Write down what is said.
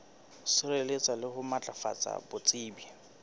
sireletsa le ho matlafatsa botsebi